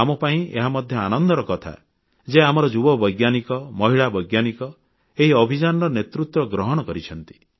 ଆମ ପାଇଁ ଏହା ମଧ୍ୟ ଆନନ୍ଦର କଥା ଯେ ଆମର ଯୁବ ବୈଜ୍ଞାନିକ ମହିଳା ବୈଜ୍ଞାନିକ ଏହି ଅଭିଯାନର ନେତୃତ୍ୱ ଗ୍ରହଣ କରିଛନ୍ତି